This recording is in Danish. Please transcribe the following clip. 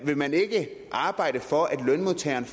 vil man ikke arbejde for at lønmodtagerne